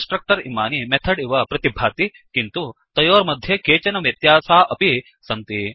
constructor इमानि method इव प्रतिभाति160 किन्तु तयोर्मध्ये केचन व्यत्यासा अपि सन्ति